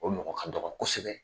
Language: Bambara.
O mɔgɔ ka dɔgɔ kosɛbɛ.